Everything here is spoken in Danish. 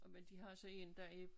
Og men de har så én der er